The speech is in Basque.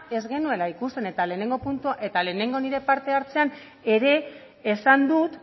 ez genuela ikusten eta lehenengo nire parte hartzean ere esan dut